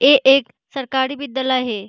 ए एक सरकारी विद्यालय हे ।